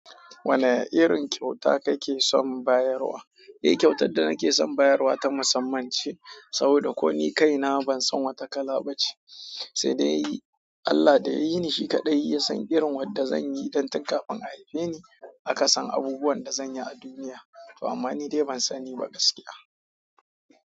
Wane irin kyauta kake son bayarwa? Eh kyautar da nake son bayarwa ta musamman ce saboda ko ni kaina ban san wata kala ba ce sai dai Allah da ya yi ni shi kaɗai ya san irin wadda zan yi. Dan tun kafin a haife ni aka san abubuwan da zan yi a duniya, amma ni dai ban sani ba gaskiya.